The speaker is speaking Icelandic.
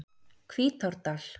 Hvítárdal